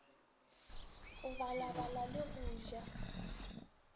go balabala le go ja